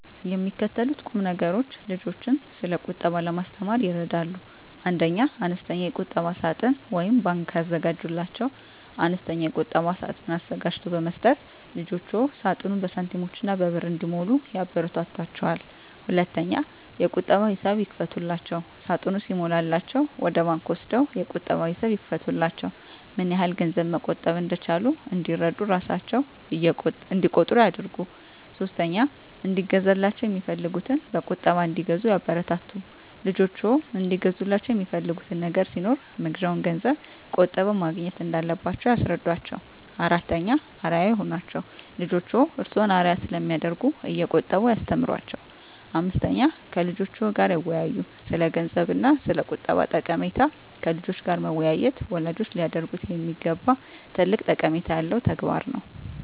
የሚከተሉት ቁምነገሮች ልጆችን ስለቁጠባ ለማስተማር ይረዳሉ 1. አነስተኛ የቁጠባ ሳጥን (ባንክ) ያዘጋጁላቸው፦ አነስተኛ የቁጠባ ሳጥን አዘጋጅቶ በመስጠት ልጆችዎ ሳጥኑን በሳንቲሞችና በብር እንዲሞሉ ያበረታቷቸው። 2. የቁጠባ ሂሳብ ይክፈቱላቸው፦ ሳጥኑ ሲሞላላቸው ወደ ባንክ ወስደው የቁጠባ ሂሳብ ይክፈቱላቸው። ምንያህል ገንዘብ መቆጠብ እንደቻሉ እንዲረዱ እራሣቸው እቆጥሩ ያድርጉ። 3. እንዲገዛላቸው የሚፈልጉትን በቁጠባ እንዲገዙ ያበረታቱ፦ ልጆችዎ እንዲገዙላቸው የሚፈልጉት ነገር ሲኖር መግዣውን ገንዘብ ቆጥበው ማግኘት እንዳለባቸው ያስረዷቸው። 4. አርአያ ይሁኗቸው፦ ልጆችዎ እርስዎን አርአያ ስለሚያደርጉ እየቆጠቡ ያስተምሯቸው። 5. ከልጆችዎ ጋር ይወያዩ፦ ስለገንዘብ እና ስለቁጠባ ጠቀሜታ ከልጆች ጋር መወያየት ወላጆች ሊያደርጉት የሚገባ ትልቅ ጠቀሜታ ያለው ተግባር ነው።